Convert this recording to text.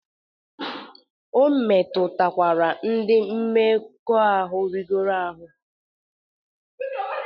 O metụtakwara ndị mmekọahụ rigoro ahụ.